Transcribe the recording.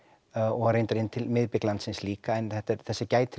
og reyndar inn til miðbiks landsins líka en þessa gætir